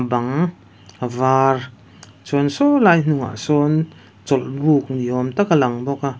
bang a var chuan sawlai hnungah sawn chawlh buk ni awm tak a lang bawk a.